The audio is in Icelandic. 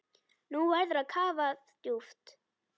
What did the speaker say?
Nú verður kafað djúpt.